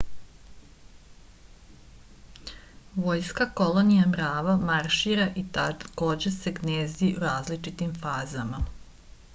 vojska kolonija mrava maršira i takođe se gnezdi u različitim fazama